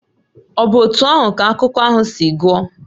Ọ̀ bụ otú ahụ ka akụkọ ahụ si gwụ?